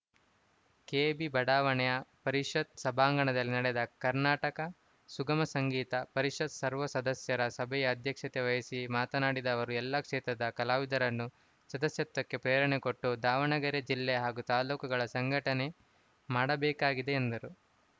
KB ಬಡಾವಣೆಯ ಪರಿಷತ್‌ ಸಭಾಂಗಣದಲ್ಲಿ ನಡೆದ ಕರ್ನಾಟಕ ಸುಗಮ ಸಂಗೀತ ಪರಿಷತ್‌ ಸರ್ವ ಸದಸ್ಯರ ಸಭೆಯ ಅಧ್ಯಕ್ಷತೆ ವಹಿಸಿ ಮಾತನಾಡಿದ ಅವರು ಎಲ್ಲಾ ಕ್ಷೇತ್ರದ ಕಲಾವಿದರನ್ನು ಸದಸ್ಯತ್ವಕ್ಕೆ ಪ್ರೇರಣೆಕೊಟ್ಟು ದಾವಣಗೆರೆ ಜಿಲ್ಲೆ ಹಾಗೂ ತಾಲೂಕುಗಳ ಸಂಘಟನೆ ಮಾಡಬೇಕಾಗಿದೆ ಎಂದರು